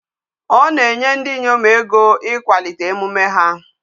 Ọ na-enye ndi inyom ego ikwalite emume ha.